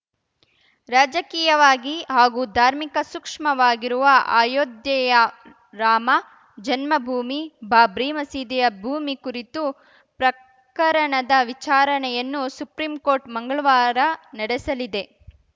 ರಾಜಕೀಯವಾಗಿ ಹಾಗೂ ಧಾರ್ಮಿಕ ಸೂಕ್ಷ್ಮವಾಗಿರುವ ಅಯೋಧ್ಯೆಯ ರಾಮ ಜನ್ಮಭೂಮಿ ಬಾಬ್ರಿ ಮಸೀದಿಯ ಭೂಮಿ ಕುರಿತು ಪ್ರಕರಣದ ವಿಚಾರಣೆಯನ್ನು ಸುಪ್ರೀಂಕೋರ್ಟ್‌ ಮಂಗಳವಾರ ನಡೆಸಲಿದೆ